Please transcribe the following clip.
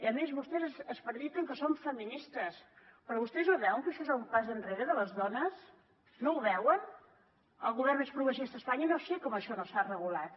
a més vostès prediquen que són feministes però vostès no veuen que això és un pas enrere de les dones no ho veuen al govern més progressista d’espanya no sé com això no s’ha regulat